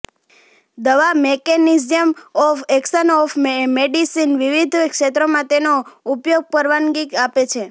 દવા mechanism of action of medicine વિવિધ ક્ષેત્રોમાં તેનો ઉપયોગ પરવાનગી આપે છે